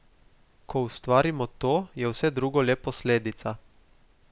Ko ustvarimo to, je vse drugo le posledica.